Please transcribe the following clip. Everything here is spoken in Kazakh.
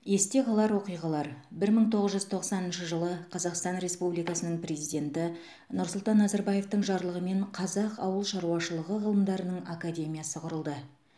есте қалар оқиғалар бір мың тоғыз жүз тоқсаныншы жылы қазақстан республикасының президенті нұрсұлтан назарбаевтың жарлығымен қазақ ауыл шаруашылығы ғылымдарының академиясы құрылды